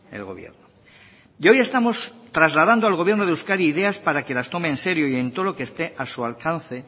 el gobierno y hoy estamos trasladando al gobierno de euskadi ideas para que las tome en serio y en todo lo que esté a su alcance